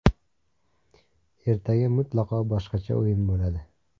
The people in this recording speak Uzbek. Ertaga mutlaqo boshqacha o‘yin bo‘ladi.